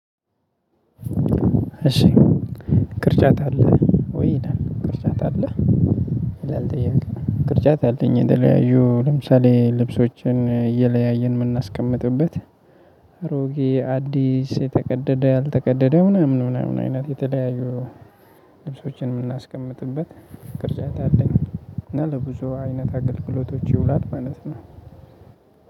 እሺ "ቅርጫት አለህ ወይ?" ይላል ቅርጫት አለህ? ይላል ጥያቄው። ቅርጫት አለኝ የተለያዩ ለምሳሌ ልብሶችን እየለያየን የምናስቀምጥበት አሮጌ፣ አዲስ፣ የተቀደደ፣ ያልተቀደደ ምናምን ምናምን አይነት የተለያዩ ልብሶችን የምናስቀምጥበት ቅርጫት አለኝ እና ለብዙ አይነት አገልግሎቶች ይውላል ማለት ነው።